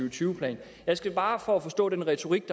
og tyve plan jeg skal bare for at forstå den retorik